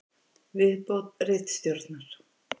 Viðbót ritstjórnar: